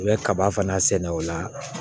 U bɛ kaba fana sɛnɛ o la